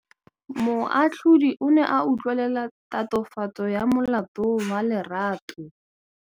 Moatlhodi o ne a utlwelela tatofatsô ya molato wa Lerato.